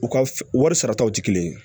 U ka f wari sarataw tɛ kelen ye